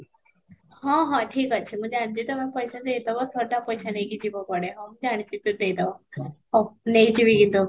ହଁ, ହଁ ଠିକ ଅଛି ମୁଁ ଜାଣିଛି ତୋମେ ପଇସା ଦେଇ ଦେବ ଶହେ ଟା ପଇସା ନେଇକି ବି ଯିବ କୁଆଡେ ହଁ ମୁଁ ଜାଣିଛି ଦେଇ ଦବ ହଉ ନେଇକିରି ଯିବ